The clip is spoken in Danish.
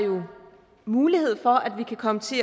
mulighed for at vi kan komme til